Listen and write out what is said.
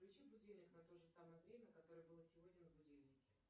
включи будильник на то же самое время которое было сегодня на будильнике